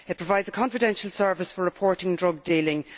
It provides a confidential service for reporting drug dealing.